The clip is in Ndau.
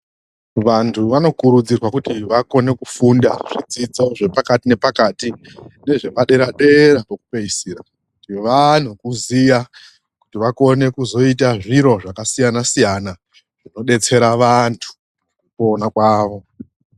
Vanhu vanokurudzirwa kuti vakone kufunda zvidzidzo zvepakati nepakati nezvepadera dera pekupeisira, vaano kuziya kuti vakone kuzoita zviro zvakasiyana siyana zvinodetsera vanhu mukupona kwavo.